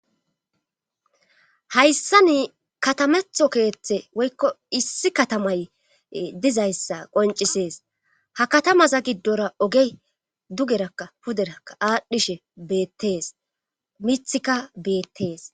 hayssa ni katametho keeththe woykko issi katamay dizayssa qoncisees ha katamaza giddora ogey dugerakka puderakka aadhdhishe beettees mithikka beettees